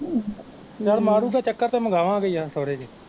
ਯਾਰ ਮਾਰੂਗਾ ਚੱਕਰ ਤੇ ਮੰਗਾਵਾਂਗੇ ਯਾਰ